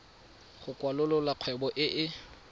go kwalolola kgwebo e e